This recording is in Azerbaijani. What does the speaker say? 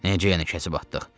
Necə yəni kəsib atdıq?